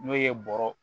N'o ye bɔrɔ